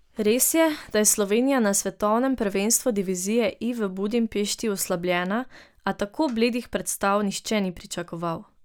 Res je, da je Slovenija na svetovnem prvenstvu divizije I v Budimpešti oslabljena, a tako bledih predstav nihče ni pričakoval.